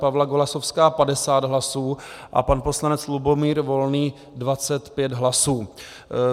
Pavla Golasowská 50 hlasů a pan poslanec Lubomír Volný 25 hlasů.